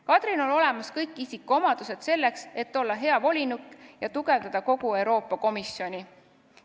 Kadril on olemas kõik isikuomadused selleks, et olla hea volinik ja tugevdada kogu Euroopa Komisjoni.